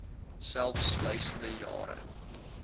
selfs duisende jare